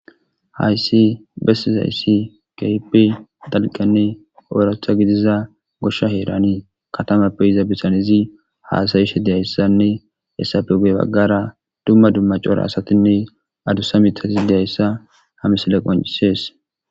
hayssi bessizayssi keehippe dalqanne oratha gidiza goshsha heeranii katamappe yiza bitanizi haasayishe deyayssanne hessappe guye baggara dumma dumma cora asatinne adusa mitatis deyayssa ha msiley qoncisees.